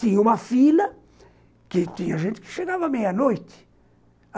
Tinha uma fila, que tinha gente que chegava meia-noite.